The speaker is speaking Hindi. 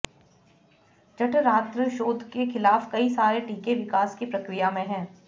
जठरांत्र शोथ के खिलाफ कई सारे टीके विकास की प्रक्रिया में हैं